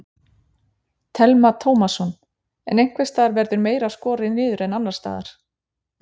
Telma Tómasson: En einhvers staðar verður meira skorið niður en annars staðar?